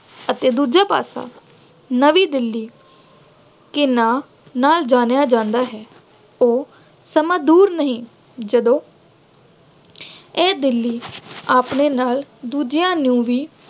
ਅਤੇ ਦੂਜਾ ਪਾਸਾ ਨਵੀਂ ਦਿੱਲੀ ਦੇ ਨਾਂ ਨਾਲ ਜਾਣਿਆ ਜਾਂਦਾ ਹੈ। ਉਹ ਸਮਾਂ ਦੂਰ ਨਹੀਂ ਜਦੋਂ ਇਹ ਦਿੱਲੀ ਆਪਣੇ ਨਾਲ ਦੂਜਿਆਂ ਨੂੰ